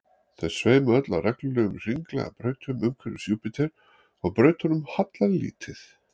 þau sveima öll á reglulegum hringlaga brautum umhverfis júpíter og brautunum hallar lítið